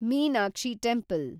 Meenakshi temple